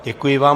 Děkuji vám.